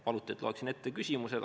Paluti, et loeksin ette küsimused.